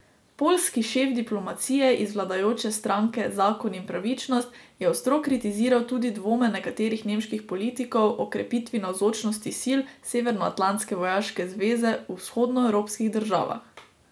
Poljski šef diplomacije iz vladajoče stranke Zakon in pravičnost je ostro kritiziral tudi dvome nekaterih nemških politikov o krepitvi navzočnosti sil severnoatlantske vojaške zveze v vzhodnoevropskih državah.